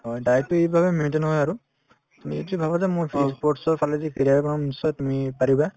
হয়, diet তো এইভাবে maintain হয় আৰু তুমি actually ভাবা যে মোৰ ই sports ৰ ফালেদি career বনাব নিশ্চয় তুমি পাৰিবা